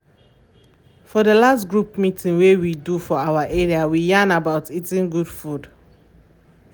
for the last group meeting wey we do for our area we yarn about eating good food